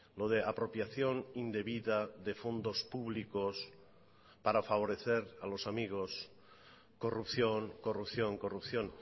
lo de apropiación indebida de fondos públicos para favorecer a los amigos corrupción corrupción corrupción